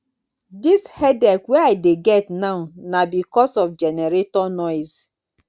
dis headache wey i dey get now na because of generator noise.